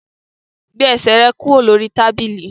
Gbé ẹsẹ̀ rẹ kúrò lórí tábìlì!